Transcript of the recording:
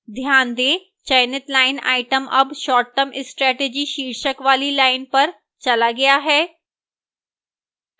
ध्यान दें चयनित line item अब short term strategy शीर्षक वाली slide पर चला गया है